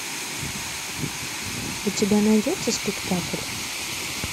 у тебя найдется спектакль